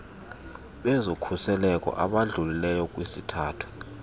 bezokhuseleko abadlulileyo kwisithathu